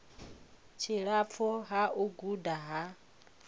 tshilapfu ha u guda ha